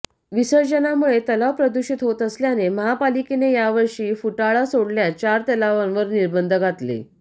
विसर्जनामुळे तलाव प्रदूषित होत असल्याने महापालिकेने यावर्षी फुटाळा सोडल्यास चार तलावावर निर्बंध घातले